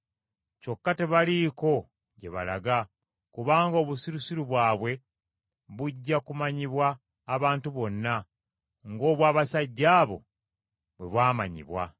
Kyokka tebaliiko gye balaga, kubanga obusirusiru bwabwe bujja kumanyibwa abantu bonna, ng’obwa abasajja abo bwe bwamanyibwa.